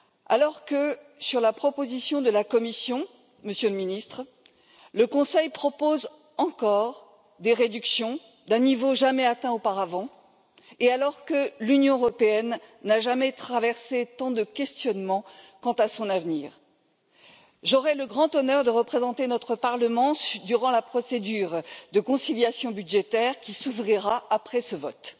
Alors que, par rapport à la proposition de la Commission, Monsieur le Ministre, le Conseil propose encore des réductions d'un niveau jamais atteint auparavant, et que l'Union européenne n'a jamais fait face à tant de questionnements quant à son avenir, j'aurai le grand honneur de représenter notre Parlement durant la procédure de conciliation budgétaire qui s'ouvrira après ce vote.